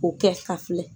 O kɛ ka filɛ